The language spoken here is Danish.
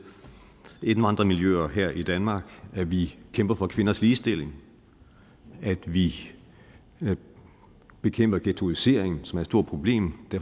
indvandrermiljøer her i danmark at vi kæmper for kvinders ligestilling at vi bekæmper ghettoisering som er et stort problem